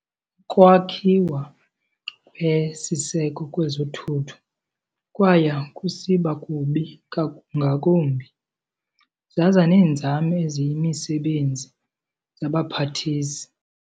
Ukwakhiwa kwesiseko kwezothutho kwaya kusiba kubi ngakumbi zaza neenzame eziyimisebenzi yawa phantis.